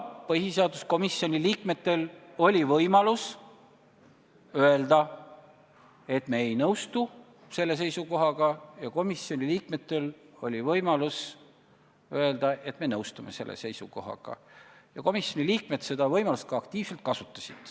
Põhiseaduskomisjoni liikmetel oli võimalus öelda, et me ei nõustu selle seisukohaga, ja komisjoni liikmetel oli võimalus öelda, et me nõustume selle seisukohaga, ja nad seda võimalust aktiivselt ka kasutasid.